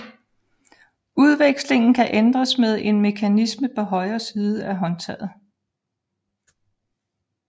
Udvekslingen kan ændres med en mekanisme på højre side af håndtaget